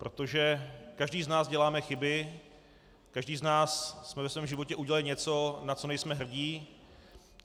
Protože každý z nás děláme chyby, každý z nás jsme ve svém životě udělali něco, na co nejsme hrdí.